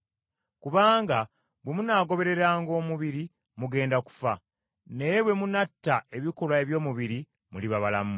Kubanga bwe munaagobereranga omubiri, mugenda kufa. Naye bwe munnatta ebikolwa eby’omubiri, muliba balamu,